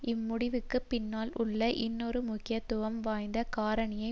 இம்முடிவுக்கு பின்னால் உள்ள இன்னொரு முக்கியத்துவம் வாய்ந்த காரணியை